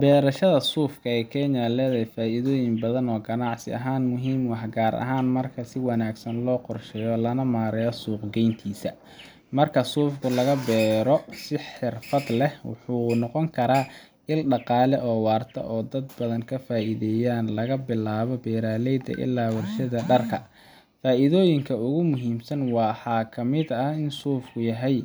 Beerashada suufka ee Kenya waxay leedahay faa’iidooyin badan oo ganacsi ahaan muhiim ah, gaar ahaan marka si wanaagsan loo qorsheeyo lana maareeyo suuq-geyntiisa. Marka suufka laga beero si xirfad leh, wuxuu noqon karaa il dhaqaale oo waarta oo dad badan ka faa’iidayaan—laga bilaabo beeraleyda illaa warshadaha dharka. Faa’iidooyinka ugu muhiimsan waxaa kamid ah in suufku yahay